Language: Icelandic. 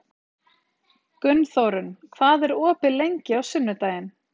Gunnþórunn, hvað er opið lengi á sunnudaginn?